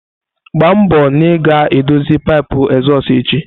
Gba mbo na ị ga-edozi pipu ezozu echi!